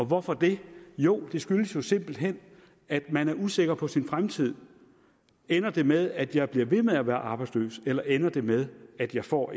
hvorfor det jo det skyldes jo simpelt hen at man er usikker på sin fremtid ender det med at jeg bliver ved med at være arbejdsløs eller ender det med at jeg får